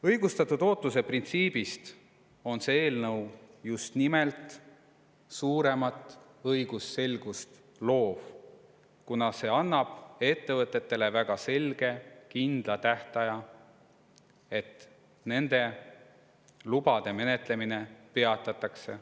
Õigustatud ootuse printsiibist lähtudes loob just nimelt see eelnõu suuremat õigusselgust, kuna see annab ettevõtetele väga selge, kindla tähtaja, mil nende lubade menetlemine peatatakse.